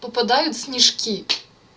попадают в снежки